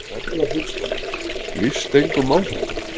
Erla Hlynsdóttir: Líst engum á þetta?